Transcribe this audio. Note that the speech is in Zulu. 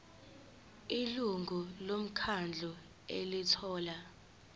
ilungu lomkhandlu elithola